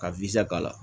Ka k'a la